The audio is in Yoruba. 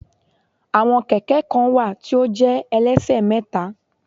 Àwọn Kẹ̀kẹ́ kan wà tí ó jẹ́ ẹlẹ́ṣẹ̀mẹ́ta